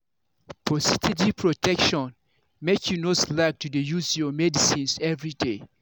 for steady protection make you no slack to dey use your medicines everyday.